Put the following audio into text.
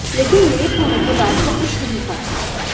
लेकिन लेट होने पर रात को कुछ नहीं खाती